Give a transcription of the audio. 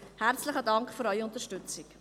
Vielen Dank für Ihre Unterstützung.